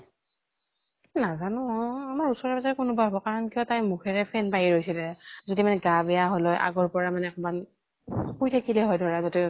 নাজানো উ আমাৰ ওচৰে পাজৰে কোনবা হব, কাৰণ কিয় তাইৰ মুখেৰে ফেন বাহিৰ হৈছিলে। যদি মানে গা বেয়া হল হয় আগৰ পৰা মানে কবাত শুই থাকিলে হয় ধৰা যতে ততে